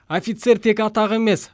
офицер тек атақ емес